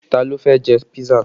Ta ló fẹ́ jẹ písà?